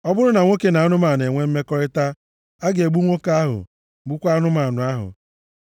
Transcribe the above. “ ‘Ọ bụrụ na nwoke na anụmanụ enwee mmekọrịta, a ga-egbu nwoke ahụ gbukwaa anụmanụ ahụ.